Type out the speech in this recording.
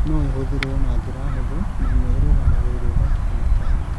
No ĩhũthĩrũo na njĩra hũthũ na nĩ ĩrũgamagĩrĩrũo matukũ matano.